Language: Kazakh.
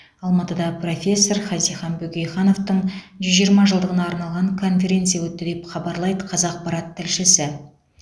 алматыда профессор хазихан бөкейхановтың жүз жиырма жылдығына арналған конференция өтті деп хабарлайды қазақпарат тілшісі